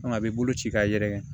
a bɛ bolo ci k'a yɛrɛkɛ